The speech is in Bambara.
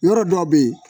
Yɔrɔ dɔ bɛ yen